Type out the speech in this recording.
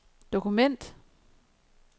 dokument